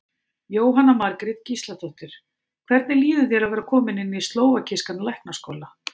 Jóhanna Margrét Gísladóttir: Hvernig líður þér að vera kominn inn í slóvakískan læknaskóla?